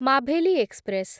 Maveli express